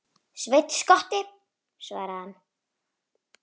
Sveinn skotti, svaraði hann.